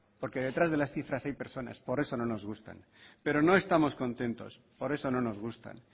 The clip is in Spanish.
porque detrás de las cifras hay personas por eso no nos gustan pero no estamos contentos por eso no nos gustan